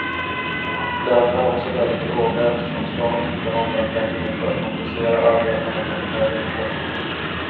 Lönerna är också väldigt låga eftersom staten inte har några pengar för att kompensera arbetarna för den höga inflationen.